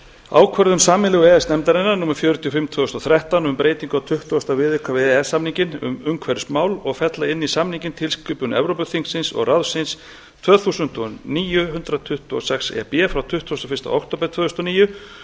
ákvörðun sameiginlegu e e s nefndarinnar númer fjörutíu og fimm tvö þúsund og þrettán um breytingu á tuttugasta viðauka við e e s samninginn um umhverfismál og fella inn í samninginn tilskipun evrópuþingsins og ráðsins tvö þúsund og níu hundrað tuttugu og sex e b frá tuttugasta og fyrsta október tvö þúsund og níu